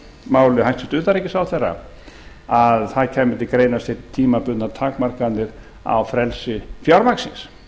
máli hæstvirts utanríkisráðherra að það kæmi til greina að setja tímabundnar takmarkanir á frelsi fjármagnsins